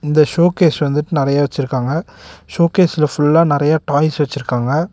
இந்த ஷோகேஸ் வந்துட்டு நறையா வெச்சுருக்காங்க ஷோகேஸ்ல ஃபுல்லா நறையா டாய்ஸ் வெச்சிருக்காங்க.